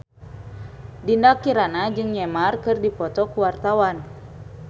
Dinda Kirana jeung Neymar keur dipoto ku wartawan